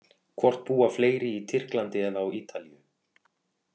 Hvort búa fleiri í Tyrklandi eða á Ítalíu?